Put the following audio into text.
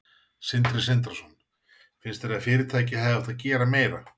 Sindri Sindrason: Finnst þér að fyrirtækið hefði átt að gera meira?